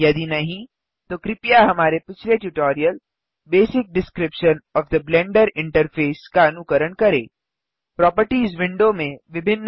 यदि नहीं तो कृपया हमारे पिछले tutorial basic description of the Blender interface Blender interface का बुनियादी विवरण का अनुकरण करें